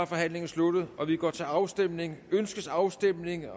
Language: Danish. forhandlingen sluttet og vi går til afstemning afstemning